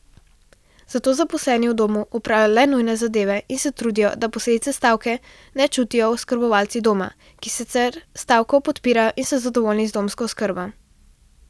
Zato zaposleni v domu opravljajo le nujne zadeve in se trudijo, da posledice stavke ne čutijo oskrbovanci doma, ki sicer stavko podpirajo in so zadovoljni z domsko oskrbo.